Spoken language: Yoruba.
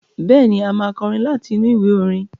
Bẹ́ẹ̀ni, a máa kọrin láti inú ìwé orin.